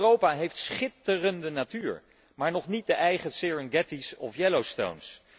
Europa heeft schitterende natuur, maar nog niet de eigen Serengetis of Yellowstones.